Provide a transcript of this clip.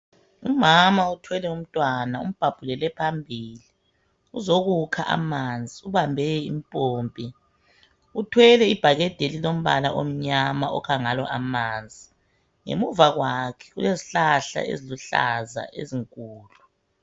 Umama othwele umntwana umbhabhulele phambili. Uzokukha amanzi ubambe impompi, uthwele ibhakede elilombala omnyama okha ngalo amanzi. Ngemuva kwakhe kulezihlahla eziluhlaza ezinkulu.